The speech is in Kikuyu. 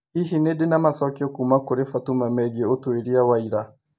Hihi nĩ ndĩ na macokio kuuma kũrĩ Fatuma megiĩ ũtuĩria wa ira